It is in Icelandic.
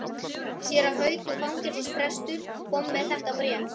Séra Haukur fangelsisprestur kom með þetta bréf.